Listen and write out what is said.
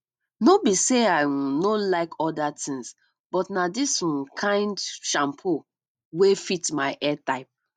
no be sey i um no like oda things but na dis um kind shampoo wey fit my hair type